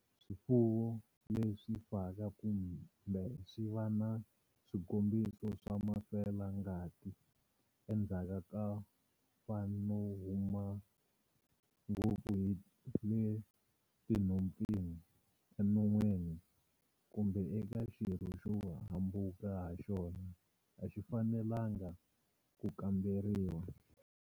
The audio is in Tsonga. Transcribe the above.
Swifuwo leswi faka kumbe swi va na swikombiso swa mafela ngati endzhaku ko fa no huma ngopfu hi le tinhompfini, enon'wini kumbe eka xirho xo hambuka ha xona a xi fanelangi ku kamberiwa.